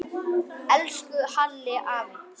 Elsku Halli afi.